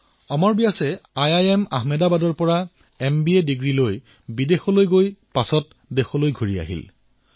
অমৰ Vyas IIM আহমেদাবাদৰ পৰা MBA কৰাৰ পিছত বিদেশলৈ গুচি গৈছিল আৰু পুনৰ ঘূৰি আহিছিল